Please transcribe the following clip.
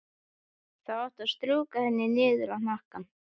Þá áttu að strjúka henni niður hnakkann.